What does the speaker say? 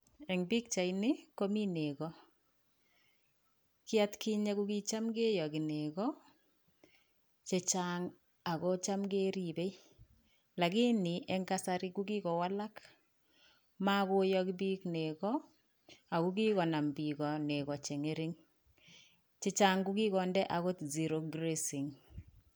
En pichaini, komi nego. Kii at kinye ko kitam kiyogi nego chechang', ago cham keripen . Lakini en kasari ko kigowalak. Mogoyogi piik nego, ako kigonam piik nego cheng'ering. Chechang' ko kigonde agot zero grazing.